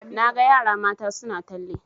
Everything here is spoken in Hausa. Na ga yara mata suna talle